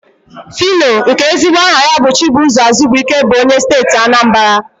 Fino, nke ezigbo aha ya bụ Chibụzọ Azubuike bụ onye Steeti Anambara.